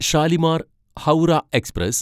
Shalimar Howrah express